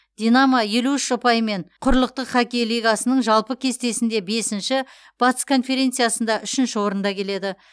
динамо елу үш ұпаймен құрлықтық хоккей лигасының жалпы кестесінде бесінші батыс конференциясында үшінші орында келеді